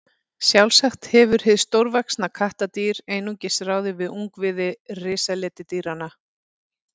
Sjálfsagt hefur hið stórvaxna kattardýr einungis ráðið við ungviði risaletidýranna.